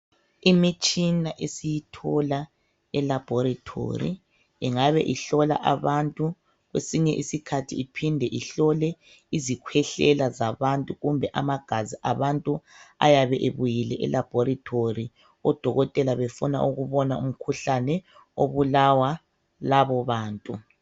Imitshina esiyithola eLaboratory. Ingabe ihlola izigulane. Kwesinye isikhathi, isetshenziswa ukuhlola izikhwehlela kanye legazi. Odokotela bayabe bedinga umkhuhlane, oyabe uhlasele lezo zigulane.